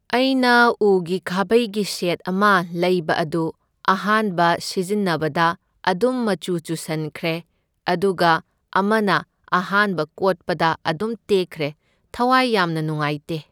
ꯑꯩꯅ ꯎꯒꯤ ꯈꯥꯕꯩꯒꯤ ꯁꯦꯠ ꯑꯃ ꯂꯩꯕ ꯑꯗꯨ ꯑꯍꯥꯟꯕ ꯁꯤꯖꯤꯟꯅꯕꯗ ꯑꯗꯨꯝ ꯃꯆꯨ ꯆꯨꯁꯟꯈ꯭ꯔꯦ, ꯑꯗꯨꯒ ꯑꯃꯅ ꯑꯍꯥꯟꯕ ꯀꯣꯠꯄꯗ ꯑꯗꯨꯝ ꯇꯦꯛꯈ꯭ꯔꯦ, ꯊꯋꯥꯏ ꯌꯥꯝꯅ ꯅꯨꯡꯉꯥꯏꯇꯦ꯫